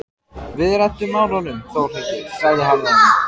Við reddum málunum Þórhildur, sagði hann við hana.